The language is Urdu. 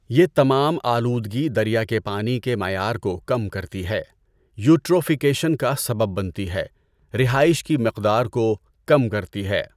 یہ تمام آلودگی دریا کے پانی کے معیار کو کم کرتی ہے، یوٹروفیکیشن کا سبب بنتی ہے، رہائش کی مقدار کو کم کرتی ہے۔